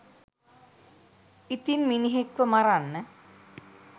ඉතින් මිනිහෙක්ව මරන්න